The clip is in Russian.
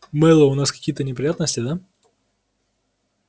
мэллоу у нас какие-то неприятности да